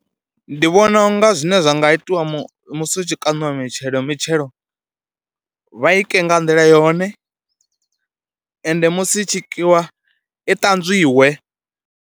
Ndi vhona u nga zwine zwa nga itiwa musi hu tshi kaṋiwa mitshelo, mitshelo vha i ke nga nḓila yone, ende musi i tshi bikiwa i ṱanzwiwe.